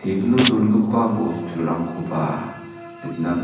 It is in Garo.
tebilo dongipa bosturangkoba nikna git--